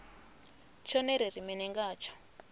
tshone ri ri mini ngatsho